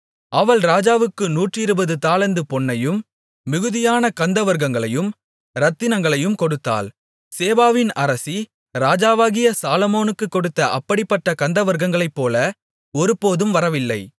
அவள் ராஜாவுக்கு நூற்றிருபது தாலந்து பொன்னையும் மிகுதியான கந்தவர்க்கங்களையும் இரத்தினங்களையும் கொடுத்தாள் சேபாவின் அரசி ராஜாவாகிய சாலொமோனுக்குக் கொடுத்த அப்படிப்பட்ட கந்தவர்க்கங்களைப்போல ஒருபோதும் வரவில்லை